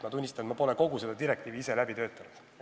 Ma tunnistan, et pole kogu seda direktiivi ise läbi töötanud.